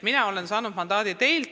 Mina olen mandaadi saanud teilt.